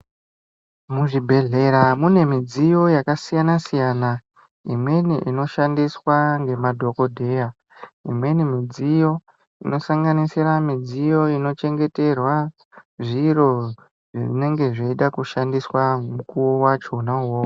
Muzvibhedhlera mune midziyo imweni yakasiyana siyana imweni inoshandiswe ngemadhokoteya imweni midziyo inosanganisira midziyo inochengeterwa zviro zvinenge zvaida kushandiswa mukuwo wachona uwowo.